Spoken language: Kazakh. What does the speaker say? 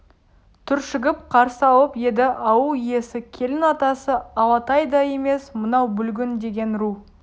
түршігіп қарсы алып еді ауыл иесі келін атасы алатай да емес мынау бүлгін деген ру